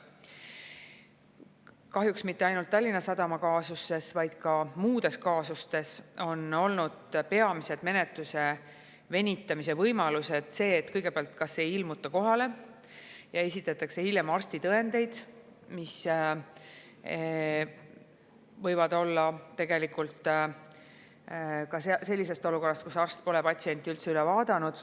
Kahjuks mitte ainult Tallinna Sadama kaasuses, vaid ka muudes kaasustes on olnud peamine menetluse venitamise võimalus see, et kõigepealt ei ilmuta kohale ja esitatakse hiljem arstitõendeid, mis võivad olla tegelikult antud olukorras, kus arst pole patsienti üldse üle vaadanud.